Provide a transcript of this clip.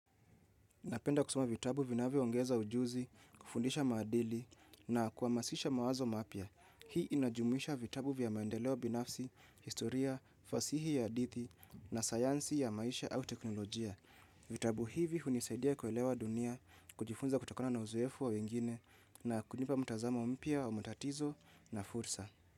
Napenda kusoma vitabu vinavyoongeza ujuzi, kufundisha maadili na kuhamasisha mawazo mapya. Hii inajumisha vitabu vya maendeleo binafsi, historia, fasihi ya hadithi na sayansi ya maisha au teknolojia. Vitabu hivi hunisaidia kuelewa dunia, kujifunza kutokana na uzoefu wa wengine na kunipa mtazamo mpya wa matatizo na fursa.